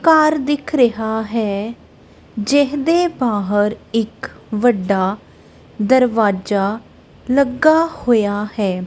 ਘਾਰ ਦਿੱਖ ਰਿਹਾ ਹੈ ਜਿਹਦੇ ਬਾਹਰ ਇੱਕ ਵੱਡਾ ਦਰਵਾਜਾ ਲੱਗਾ ਹੋਇਆ ਹੈ।